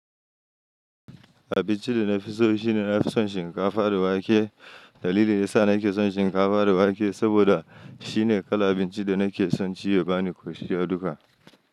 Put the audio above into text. Abinci da na fi so shine na fi son shinkafa da wake dalilin da ya sa nake son shinkafa da wake saboda shine kala abincin da nake son ci ya bani ƙoshi duka.